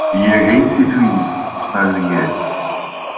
Ég heiti því, sagði ég.